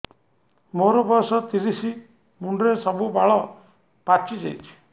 ମୋର ବୟସ ତିରିଶ ମୁଣ୍ଡରେ ସବୁ ବାଳ ପାଚିଯାଇଛି